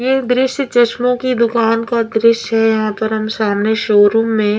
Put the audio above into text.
एक दृश्य चश्मों की दुकान का दृश्य है यहाँ पर हम सामने शोरूम में--